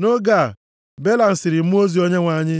Nʼoge a, Belam sịrị mmụọ ozi Onyenwe anyị,